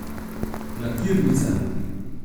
Lakirnica?